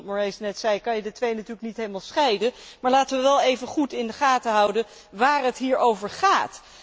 Zoals Claude Moraes net zei, kun je die twee natuurlijk niet helemaal scheiden, maar laten we wel goed in de gaten houden waar het hier over gaat.